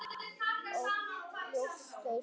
Ók á ljósastaur